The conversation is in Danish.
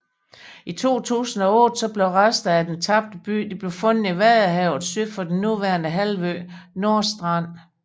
I 2008 blev resterne af den tabte by fundet i vadehavet syd for den nuværende halvø Nordstrand